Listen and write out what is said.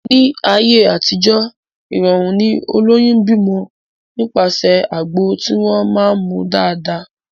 Ní ayé àtijó, ìrọ̀rùn ni olóyún ń bímọ nípasẹ̀ àgbo tí wọ́n máá ń mu dáadáa